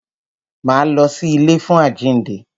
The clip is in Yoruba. Máa lọ sí ilé fún àjínde.